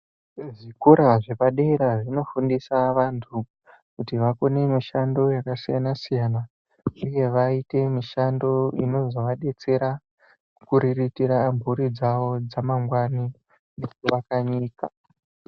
Zvikora zvepadera zvinofundisa antu kuti akone mishando yepadera yakasiyana siyana uye vaite mishando inozovadetsera kuriritira mburi dzawo dzamangwani nekuvaka nyika.